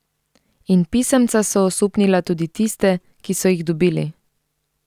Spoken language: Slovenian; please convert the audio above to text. In pisemca so osupnila tudi tiste, ki so jih dobili.